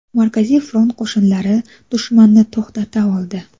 Markaziy front qo‘shinlari dushmanni to‘xtata oldi.